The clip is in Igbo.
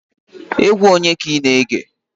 Egwu onye ka ina ege?